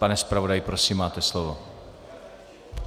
Pane zpravodaji, prosím, máte slovo.